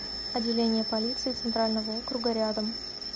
отделение полиции центрального округа рядом